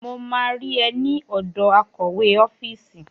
Mo máa rí ẹ ní ọ̀dọ̀ akọ̀wé ọ́fíìsì.